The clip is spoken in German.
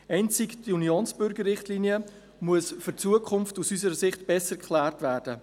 Einzig die Unionsbürgerrichtlinie muss aus unserer Sicht für die Zukunft besser geklärt werden.